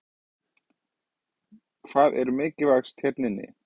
Hvað er mikilvægast hérna inni?